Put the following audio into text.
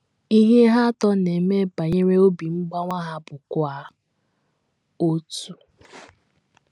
Ihe ha atọ na - eme banyere obi mgbawa ha bụkwa otu.